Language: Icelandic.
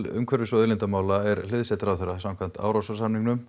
umhverfis og auðlindamála er hliðsett ráðherra samkvæmt